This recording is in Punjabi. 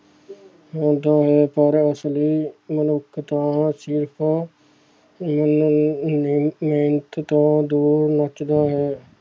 ਹੁੰਦਾ ਹੈ, ਪਰ ਅਸਲੀ ਮਨੁੱਖ ਤਾਂ ਸਿਰਫ਼ ਮਿਹਨਤ ਤੋਂ ਦੂਰ ਨੱਸਦਾ ਹੈ।